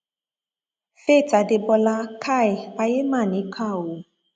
faith adébólà kai ayé mà níkà o